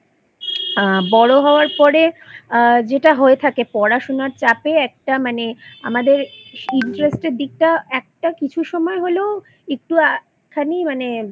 আ বড়ো হবার পরে আ যেটা হয়ে থাকে পড়াশোনার চাপে একটা মানে আমাদের interest এর দিকটা একটা কিছু সময় হলেও একটুখানি মানে